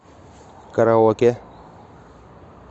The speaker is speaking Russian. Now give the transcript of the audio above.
караоке